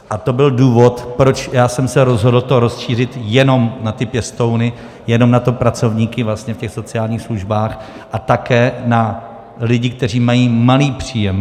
A to byl důvod, proč já jsem se rozhodl to rozšířit jenom na ty pěstouny, jenom na ty pracovníky vlastně v těch sociálních službách a také na lidi, kteří mají malý příjem.